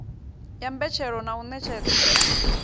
ya mbetshelo na u ṋetshedzwa